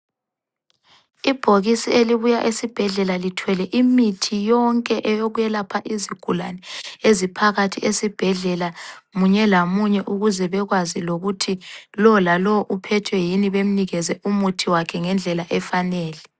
Ibhokisi elibuya esibhedlela lithwele imithi yonke eyokwelapha izigulane eziphakathi esibhedlela munye lamunye ukuze bekwazi ukuthi lowo lalowo uphethwe yini bemnikeze umuthi wakhe ngendlela efanele.